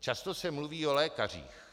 Často se mluví o lékařích.